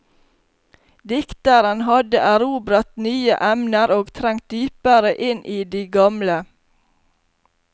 Dikteren hadde erobret nye emner og trengt dypere inn i de gamle.